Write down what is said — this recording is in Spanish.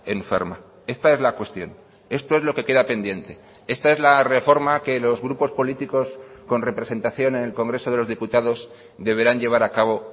enferma esta es la cuestión esto es lo que queda pendiente esta es la reforma que los grupos políticos con representación en el congreso de los diputados deberán llevar a cabo